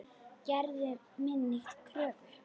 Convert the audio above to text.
Gerðu minni kröfur.